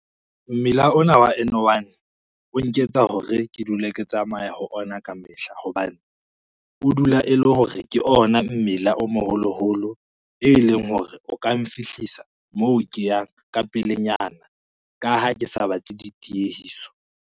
Mmila ona wa N1 o nketsa hore ke dule ke tsamaya ho ona ka mehla hobane, o dula e le hore ke ona mmila o moholoholo e leng hore o ka nfihlisa moo ke yang ka pelenyana ka ha ke sa batle ditiehiso.